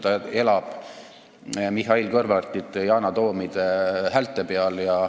Ta elab Mihhail Kõlvartite, Yana Toomide häälte peal.